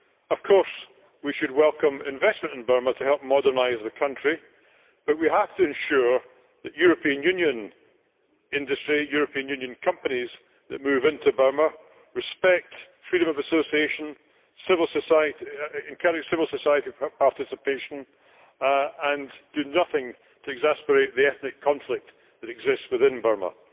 Of course, we should welcome investment in Burma to help modernise the country, but we have to ensure that European Union industries and European companies that move into Burma respect freedom of association, encourage civil society participation and do nothing to exacerbate the ethnic conflict that exists within Burma.